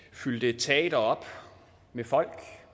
fyldte et teater op med folk